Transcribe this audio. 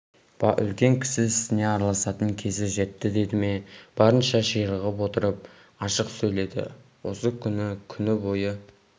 үлкен ісіне араласатын кезі жетті деді ме барынша ширығып отырып ашық сөйледі осы күн күні бойы